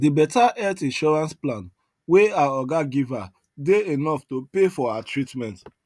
the better health insurance plan wey her oga give her dey enough to pay for her treatment